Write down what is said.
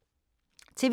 TV 2